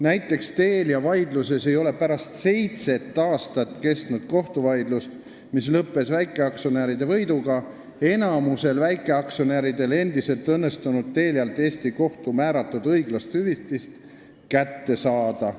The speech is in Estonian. Näiteks ei ole Telia vaidluses pärast seitse aastat kestnud kohtuvaidlust, mis lõppes väikeaktsionäride võiduga, enamikul väikeaktsionäridel endiselt õnnestunud Telialt Eesti kohtu määratud õiglast hüvitist kätte saada.